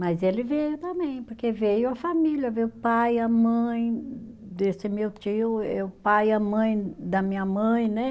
Mas ele veio também, porque veio a família, veio o pai, a mãe desse meu tio, eh o pai e a mãe da minha mãe, né?